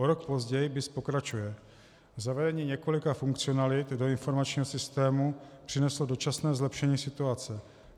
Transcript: O rok později BIS pokračuje: Zavedení několika funkcionalit do informačního systému přineslo dočasné zlepšení situace.